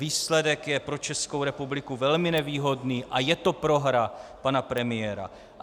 Výsledek je pro Českou republiku velmi nevýhodný a je to prohra pana premiéra.